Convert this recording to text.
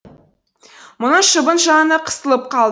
мұның шыбын жаны қысылып қалды